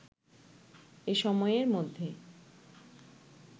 এ সময়ের মধ্যে